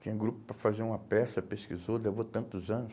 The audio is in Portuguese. Tinha grupo para fazer uma peça, pesquisou, levou tantos anos.